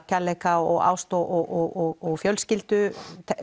kærleika ást og fjölskyldu